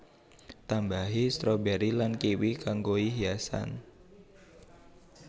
Tambahi stroberi lan kiwi kanggoi hiasan